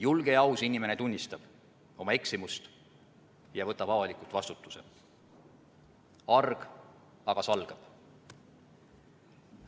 Julge ja aus inimene tunnistab oma eksimust ja võtab avalikult vastutuse, arg aga salgab.